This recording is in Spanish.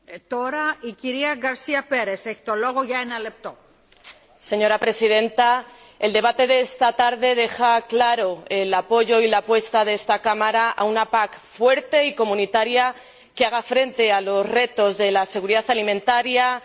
Señora Presidenta, el debate de esta tarde deja claros el apoyo y la apuesta de esta Cámara por una PAC fuerte y comunitaria que haga frente a los retos de la seguridad alimentaria, de la sostenibilidad medioambiental y del empleo en el medio rural.